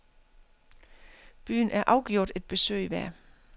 Byen er afgjort et besøg værd.